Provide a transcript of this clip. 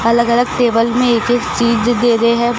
अलग अलग टेबल में एक एक चीज दे रहे हैं।